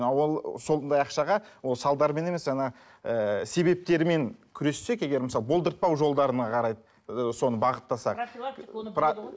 а ол сондай ақшаға ол салдарымен емес жаңа ыыы себептерімен күрессек егер мысалы болдыртпау жолдарына қарай ыыы соны бағыттасақ